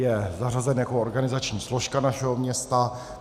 Je zařazen jako organizační složka našeho města.